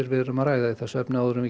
er að ræða í þessu efni áður en við